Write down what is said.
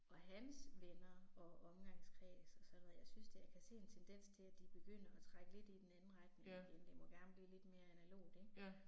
Og hans venner og omgangskreds og sådan noget jeg synes da jeg kan se en tendens til at de begynder at trække lidt i den anden retning igen, det må gerne blive lidt mere analogt ikke